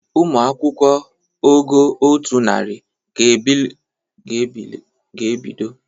Ụmụ akwụkwọ ogo otu narị ga-ebido ule asụsụ bekee zụrụ mahadum niile na izu ọzọ.